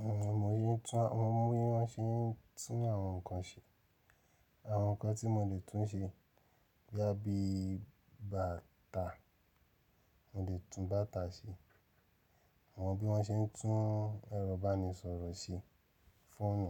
Uhm, mo yín tún, mo mọ bí wọ́n ṣe ń tún àwọn nǹkan ṣe. Àwọn nǹkan tí mo lè tún ṣe boya bi báta, mo lè tún báta ṣe. Mo mọ bí wọ́n ṣe ń tún ẹrọ̀ ibánisọ̀rọ̀ ṣe, fóònù,